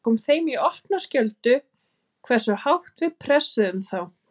Það kom þeim í opna skjöldu hversu hátt við pressuðum þá.